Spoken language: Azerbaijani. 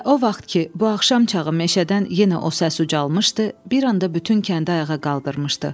Və o vaxt ki, bu axşam çağı meşədən yenə o səs ucalmışdı, bir anda bütün kəndi ayağa qaldırmışdı.